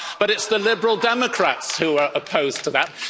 10. But it's the Liberal Democrats who are opposed to that.